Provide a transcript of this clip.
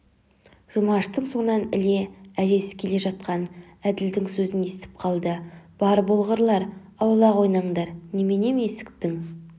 жұмаштың соңынан іле әжесі келе жатқан әділдің сөзін естіп қалды бар болғырлар аулақ ойнаңдар неменем есіктің